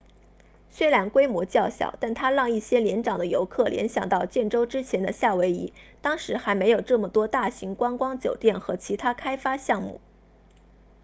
虽然规模较小但它让一些年长的游客联想到建州之前的夏威夷当时还没有这么多大型观光酒店和其他开发项目